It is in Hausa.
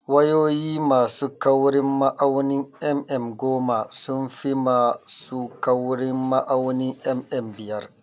Wayoyi ma su kaurin ma'aunin mm goma sun fi ma su kaurin ma'aunin mm biyar